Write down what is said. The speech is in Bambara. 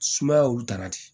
Sumaya olu taara di